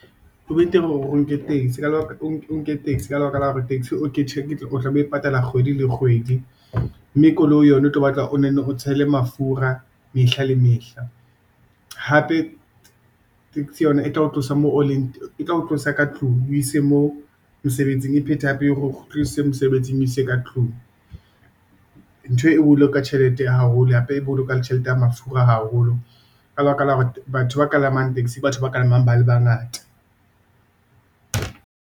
Ho be teng hore nke taxi, ka lebaka la hore taxi o ke tjhelete, ke tlo o tlabe o e patala kgwedi le kgwedi, mme koloi yona o tlo batla o nonne o tshele mafura mehla le mehla. Hape, taxi yona e tla ho tlosa ka tlung, e o ise moo mosebetsing, e phete hape hore o kgutlise mosebetsing e o ise ka tlung . Ntho e boloka tjhelete haholo, hape e bolokang tjhelete ya mafura haholo, ka lebaka la hore batho ba kalamang taxi, ke batho ba kalamang ba le bangata.